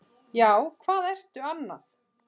Já, hvað ertu annað?